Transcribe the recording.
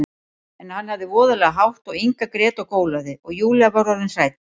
En hann hafði voðalega hátt og Inga grét og gólaði, og Júlía var orðin hrædd.